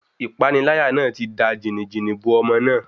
Ìpániláyà náà ti da jìnì-jìnì bo ọmọ náà.